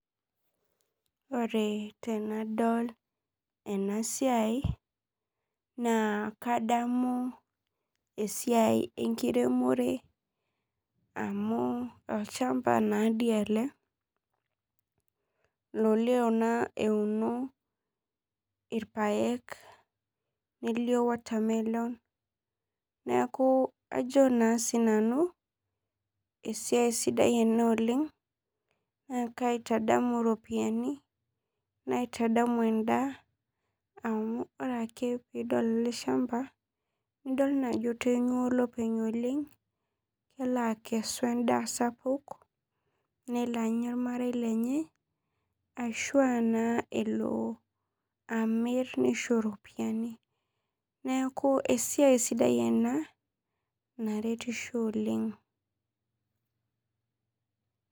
Ore tenadol enasiai kadamu esiai enkiremore amu olchamba nadi ele lolio naa euni rpaek nelio watermelon neaku ajo na. Sinanu esiai sidai ena oleng na kaitadamu ropiyani naitadanu endaa amu ore ake pidol ele shamba nidil ajo etanyua olopeny oleng kelakesu endaa sapuk nelo anya ormarei lenye ashu a elo amir nisho ropiyani neaku esiai sidai ena naretisho oleng.